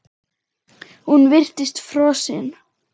Hún virtist frosin.